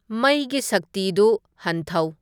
ꯃꯩꯒꯤ ꯁꯛꯇꯤꯗꯨ ꯍꯟꯊꯧ